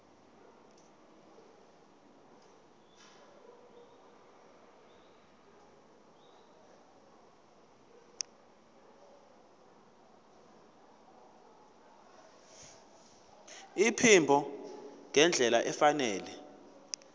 iphimbo ngendlela efanele